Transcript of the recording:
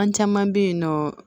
An caman bɛ yen nɔ